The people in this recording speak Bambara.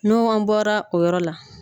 Nu an bɔra o yɔrɔ la.